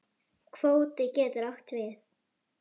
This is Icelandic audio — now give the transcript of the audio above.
Kvóti getur átt við